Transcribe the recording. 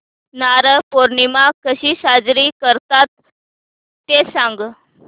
नारळी पौर्णिमा कशी साजरी करतात ते सांग